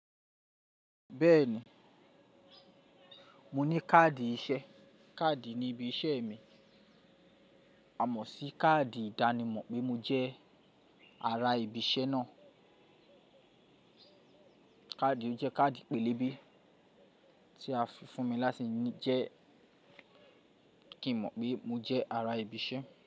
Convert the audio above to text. Bẹ́ẹ̀ni, mo ní káàdì iṣẹ́. Káàdì ní ibi iṣẹ́ mi. A mọ̀ sí káàdì ìdánimọ̀ pé mo jẹ́ ara ibi iṣẹ́ náà. Káàdì ọ jẹ́ káàdì pélébé tí a fi fún mi láti jẹ́ kí n mọ̀ pé mo jẹ́ ara ibi iṣẹ́